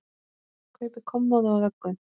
Kaupi kommóðu og vöggu.